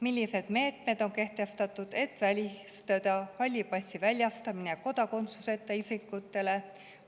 Millised meetmed on kehtestatud, et välistada halli passi väljastamine kodakondsuse isikutele?